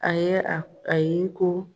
A ye a a y'i ko